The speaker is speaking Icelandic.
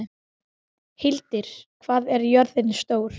Hildir, hvað er jörðin stór?